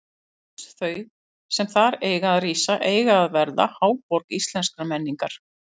Hús þau, sem þar eiga að rísa, eiga að verða háborg íslenskrar menningar!